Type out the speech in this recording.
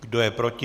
Kdo je proti?